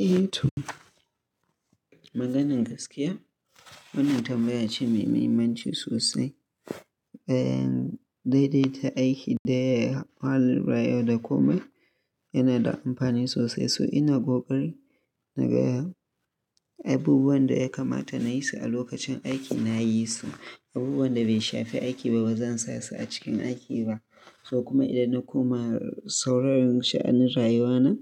Eh to maganan gaskiya, wannan tambaya ce mai mahimmanci sosai. Bayan daidaita aiki da al'amura yana da amfani sosai. So ina ƙoƙari na ga abubuwan da ya kamata na yi su a lokacin aiki, na yi su. Abubuwan da bai shafi aiki ba, ba zan sa su a cikin aiki ba. So kuma idan na koma sauron sha'anin rayuwana,